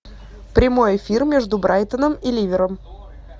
прямой эфир между брайтоном и ливером